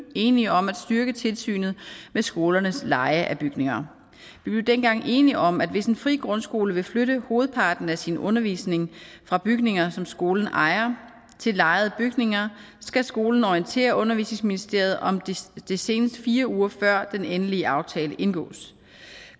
enige om at styrke tilsynet med skolernes leje af bygninger vi blev dengang enige om at hvis en fri grundskole vil flytte hovedparten af sin undervisning fra bygninger som skolen ejer til lejede bygninger skal skolen orientere undervisningsministeriet om det senest fire uger før den endelige aftale indgås